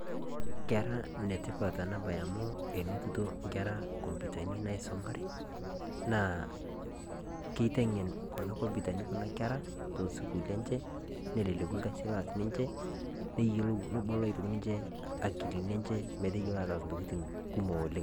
Kera enetipat enabae amu enotito nkera nkompiutani naisumare naa keitengén kuna kompiutani nkera te sukuul enje neleleku ilkasi ooas ninje nebolo ninje akili metayiolo ataas intokiting kumok oleng'